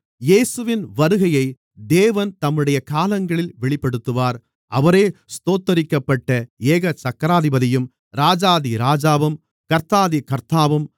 இயேசுவின் வருகையை தேவன் தம்முடைய காலங்களில் வெளிப்படுத்துவார் அவரே ஸ்தோத்தரிக்கப்பட்ட ஏகசக்கராதிபதியும் ராஜாதி ராஜாவும் கர்த்தாதி கர்த்தாவும்